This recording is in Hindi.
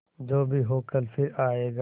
जो भी हो कल फिर आएगा